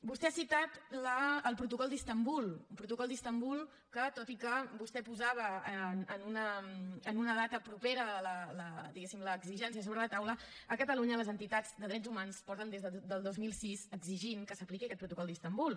vostè ha citat el protocol d’istanbul un protocol d’istanbul que tot i que vostè posava en una data propera la diguéssim exigència sobre la taula a catalunya les entitats de drets humans porten des del dos mil sis exigint que s’apliqui aquest protocol d’istanbul